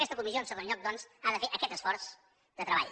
aquesta comissió en segon lloc doncs ha de fer aquest esforç de treball